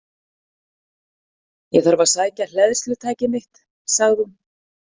Ég þarf að sækja hleðslutæki mitt, sagði hún.